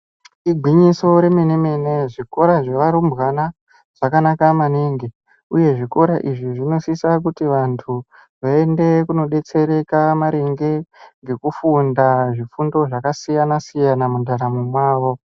Igwinyiso remene mene zvikora zvevarumbwana zvakanaka maningi uyehe zvikora izvi zvinosisa kuti vantu vaende kunodetsereka maringe ngekufunda zvifundo zvakasiyana siyana mundaramo mwavo.